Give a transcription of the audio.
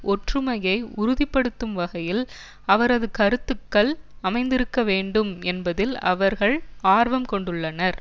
ஒற்றுமையை உறுதி படுத்தும் வகையில் அவரது கருத்துக்கள் அமைந்திருக்க வேண்டும் என்பதில் அவர்கள் ஆர்வம் கொண்டுள்ளனர்